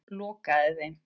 Lokaði þeim.